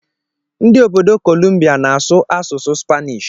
Ndị obodo Kolumbia na-asụ asụsụ Spanish.